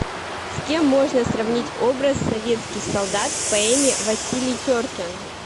с кем можно сравнить образ советских солдат в поэме василий теркин